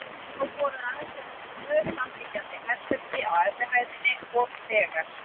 Þá voru aðeins eftir tvö samliggjandi herbergi á efri hæðinni og þegar